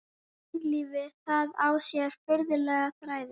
Mannlífið, það á sér furðulega þræði.